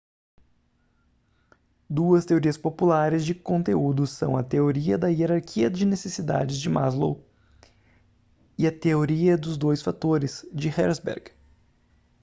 duas teorias populares de conteúdo são a teoria da hierarquia de necessidades de maslow e a teoria dos dois fatores de herzberg